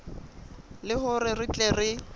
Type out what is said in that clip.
le hore re tle re